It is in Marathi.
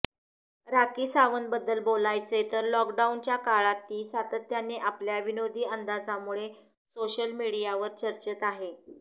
राखी सावंतबद्दल बोलायचं तर लॉकडाऊनच्या काळात ती सातत्यानं आपल्या विनोदी अंदाजामुळे सोशल मीडियावर चर्चेत आहे